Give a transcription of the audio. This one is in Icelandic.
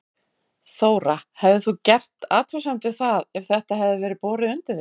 Þóra: Hefðir þú gert athugasemd við það ef þetta hefði verið borið undir þig?